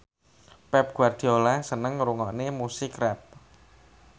Pep Guardiola seneng ngrungokne musik rap